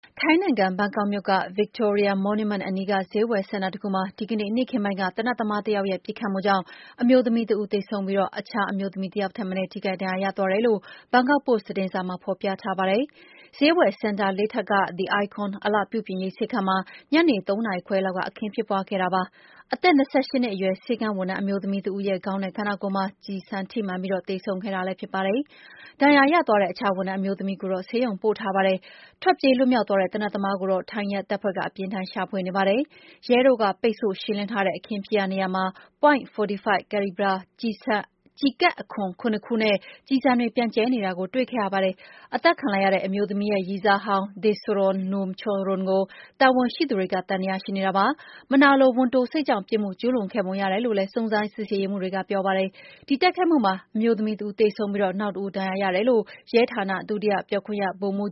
ထိုင်းနိုင်ငံ၊ ဘန်ကောက်မြို့က Victory Monument အနီးက ဈေးဝယ်စင်တာတခုမှာ ဒီကနေ့ နေ့ခင်းပိုင်းက သေနတ်သမားတယောက်ရဲ့ ပစ်ခတ်မှုကြောင့် အမျိုးသမီးတဦးသေဆုံးပြီး အခြားလူတယောက်ထက်မနည်း ထိခိုက်ဒဏ်ရာရသွားတယ်လို့ ဘန်ကောက်ပို့စ် သတင်းစာမှာ ဖော်ပြထားပါတယ်။ ဈေးဝယ်စင်တာ ၄ ထပ်က The Icon အလှပြုပြင်ရေး ဆေးခန်းမှာ ညနေ ၃ နာရီခွဲလောက်က အခင်းဖြစ်ပွါးခဲ့တာပါ။ အသက် ၂၈ နှစ်အရွယ် ဆေးခန်းဝန်ထမ်းအမျိုးသမီးတဦးရဲ့ ခေါင်းနဲ့ ခန္ဒာကိုယ်မှာ ကျည်ထိပြီး သေဆုံးခဲ့တာပါ။ ဒဏ်ရာရသွားတဲ့ အခြားဝန်ထမ်း အမျိုးသမီးတဦးကိုတော့ ဆေးရုံပို့ထားပါတယ်။ ထွက်ပြေးလွတ်မြောက်သွားတဲ့ သေနတ်သမားကိုတော့ ထိုင်းရဲတပ်ဖွဲ့ က အပြင်းအထန် ရှာဖွေနေပါတယ်။ ရဲတို့က ပိတ်ဆို့ရှင်းလင်းထားတဲ့အခင်းဖြစ်ရာနေရာမှာ .45-calibre ကျည်ခွံ ၇ ခုနဲ့ ကျည်ဆံတွေပြန့်ကျဲနေတာကို တွေ့ခဲ့ရတာပါ။ အသတ်ခံလိုက်ရတဲ့ အမျိုးသမီးရဲ့ ရည်စားဟောင်း Danusorn Numcharoen ကို တာဝန်ရှိသူတွေ သံသယ ရှိနေတာပါ။ မနာလိုဝန်တိုစိတ်ကြောင့် ပြစ်မှုကျူးလွန်ခဲ့ပုံရတယ်လို့ စုံစမ်းရေးမှုးတွေက ပြောပါတယ်။ ဒီတိုက်ခိုက်မှုအမှာ အမျိုးသမီးတဦးသေဆုံးပြီး နောက်တဦး ဒဏ်ရာရတယ်လို့ ရဲဌာန ဒုတိယပြောခွင့်ရ ဗိုလ်မှူး